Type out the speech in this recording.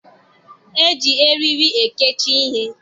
E ji eriri ekechi ihe.